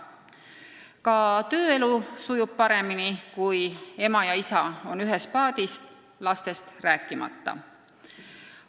Ka tööelu sujub paremini, kui ema ja isa on ühes paadis, lastest rääkimata.